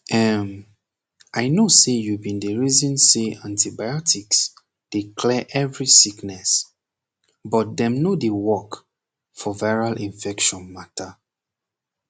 emm i know say you bin dey reason say antibiotics dey clear every sickness but dem no dey work for viral infection mata